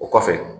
O kɔfɛ